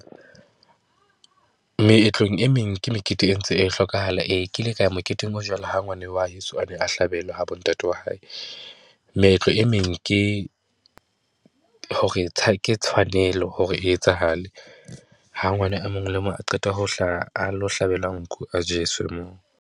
Meetlong e meng, ke mekete e ntse e hlokahala. Ee, ke ile ka ya moketeng o jwalo ha ngwana wa heso a ne a hlabelwa ha bo ntate wa hae. Meetlo e meng ke hore ke tshwanelo hore e etsahale. Ha ngwana e mong le mong a qeta ho hlaha, a lo hlabelwa nku a jeswe moo.